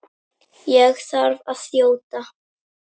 Ég þarf að þjóta.